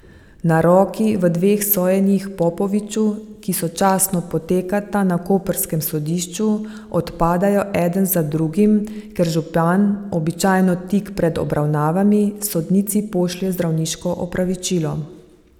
Naroki v dveh sojenjih Popoviču, ki sočasno potekata na koprskem sodišču, odpadajo eden za drugim, ker župan, običajno tik pred obravnavami, sodnici pošlje zdravniško opravičilo.